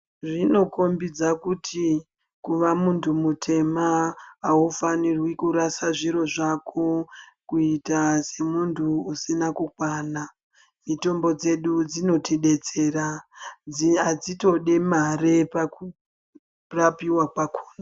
Zvinokhombidza kuti kuva muntu mutema ufaniri kurasha zviro zvako kuita semuntu usina kukwana mitombo dzedu dzinotidetsera adzitodi mare pakurapiwa kwakhona.